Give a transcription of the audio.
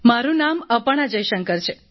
મારું નામ અપર્ણા જયશંકર છે